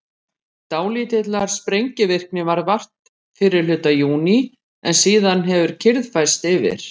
dálítillar sprengivirkni varð vart fyrri hluta júní en síðan hefur kyrrð færst yfir